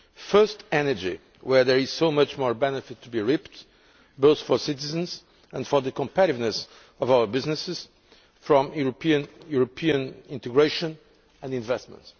First, energy, where there is so much more benefit to be reaped both for citizens and for the competitiveness of our businesses from European integration and investment.